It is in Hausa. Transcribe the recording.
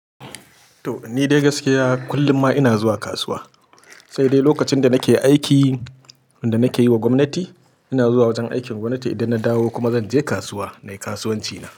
To, ni dai gaskiya kullum ma ina zuwa kasuwa, sai dai lokacin da nake aikin da nake yi wa gwamnati, ina zuwa wajen aikin gwamnati. Idan na dawo kuma zan je kasuwa na yi kasuwanci na.